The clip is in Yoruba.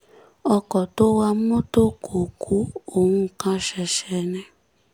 ọkọ̀ tó wa mọ́tò kò ku òun kàn ṣẹ̀ṣẹ̀ ni